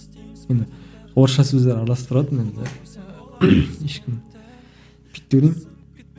міне орысша сөздер араластырыватырмын енді ешкім